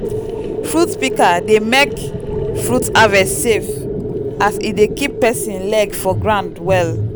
fruit pika dey mek fruit harvest safe as e dey kip person leg for ground well.